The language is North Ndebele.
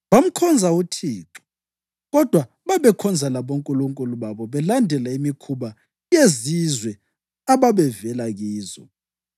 Bamkhonza uThixo, kodwa babekhonza labonkulunkulu babo belandela imikhuba yezizwe ababevela kizo.